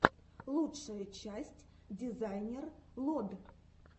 лучшая часть дизайнер лод